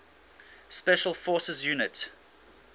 special forces units